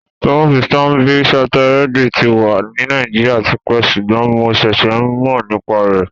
Bánkì Standard-Charterèdì tì wà ní Nàìjíríà tìpẹ́ sùgbọ́n mó ǹṣèṣè mó nípá rẹ.